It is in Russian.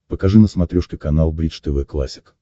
покажи на смотрешке канал бридж тв классик